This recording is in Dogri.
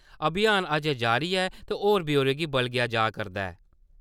अभियान अज्जें जारी ऐ ते होर ब्यौरे गी बलगेया जा करदा ऐ ।